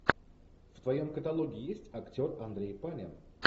в твоем каталоге есть актер андрей панин